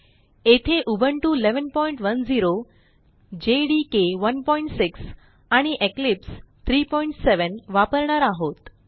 येथे Ubuntu 1110 JDK 16 आणि Eclipse 370 37 वापरणार आहोत